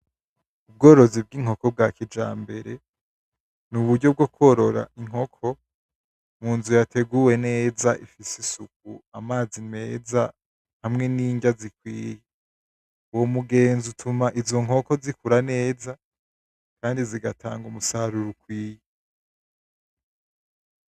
Ubworozi bw'inkoko bwa kijambere ni uburyo bwo kworora inkoko munzu yateguwe neza, ifise isuku, amazi meza, hamwe n'indya zikwiye. Uwo mugenzo utuma izo nkoko zikura neza kandi zigatanga umusaruro ukwiye.